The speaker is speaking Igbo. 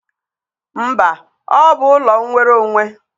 Mba, ọ bụ ụlọ nwere onwe.